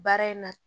Baara in na